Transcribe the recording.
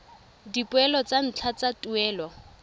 dipoelo tsa ntlha tsa tuelo